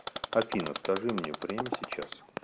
афина скажи мне время сейчас